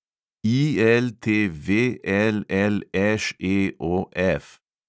ILTVLLŠEOF